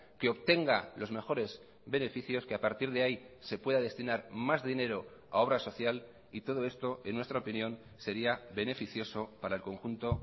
que obtenga los mejores beneficios que a partir de ahí se pueda destinar más dinero a obra social y todo esto en nuestra opinión sería beneficioso para el conjunto